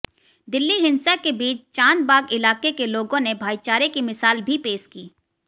दिल्ली हिंसा के बीच चांदबाग इलाके के लोगों ने भाईचारे की मिसाल भी पेश की